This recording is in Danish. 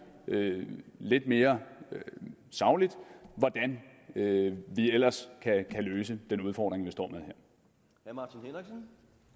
lidt mere sagligt hvordan vi ellers kan løse den udfordring vi står med her